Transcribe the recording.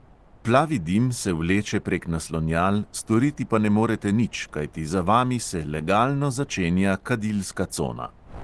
Plavi dim se vleče prek naslonjal, storiti pa ne morete nič, kajti za vami se legalno začenja kadilska cona.